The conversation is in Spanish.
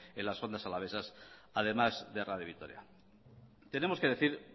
en las ondas alavesas además de radio vitoria tenemos que decir